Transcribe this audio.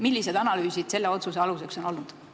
Millised analüüsid selle otsuse aluseks on olnud?